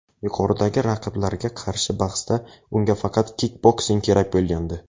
Yuqoridagi raqiblarga qarshi bahsda unga faqat kikboksing kerak bo‘lgandi.